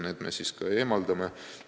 Need me kaotame.